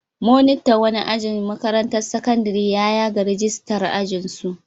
Monitan wani aji a makarantar sakandare ya yaga ragistar ajinsu.